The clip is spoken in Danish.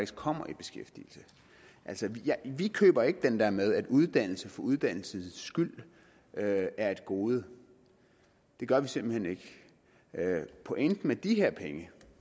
kommer i beskæftigelse vi køber ikke den der med at uddannelse for uddannelsens skyld er et gode det gør vi simpelt hen ikke pointen med de her penge